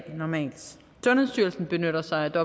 sundhedsstyrelsen benytter sig af